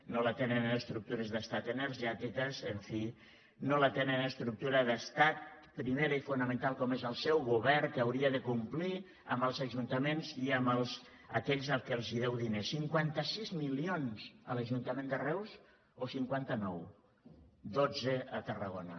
no l’atenen en estructures d’estat energètiques en fi no l’atenen en estructures d’estat primera i fonamental com és el seu govern que haurà de complir amb els ajuntaments i amb aquells als que deu diners cinquanta sis milions a l’ajuntament de reus o cinquanta nou dotze a tarragona